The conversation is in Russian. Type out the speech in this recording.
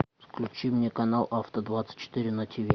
включи мне канал авто двадцать четыре на тиви